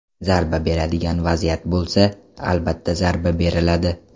Zarba beradigan vaziyat bo‘lsa, albatta zarba beriladi.